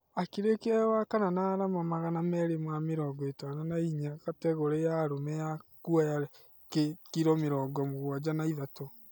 akĩrekia e wa kana na arama magana merĩ ma mĩrongo itano na inya kategore ya arũme ya kuoya kiro mĩrongo mũgwaja na ithatũ